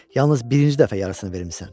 Yalnız birinci dəfə yarısını vermisən.